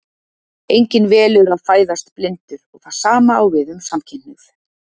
Enginn velur að fæðast blindur og það sama á við um samkynhneigð.